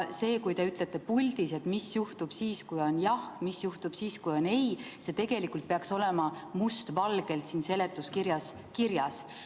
Te ütlete puldis, mis juhtub siis, kui on jah, mis juhtub siis, kui on ei – see tegelikult peaks olema must valgel seletuskirjas kirjas.